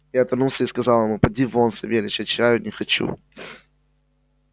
я отвернулся и сказал ему поди вон савельич я чаю не хочу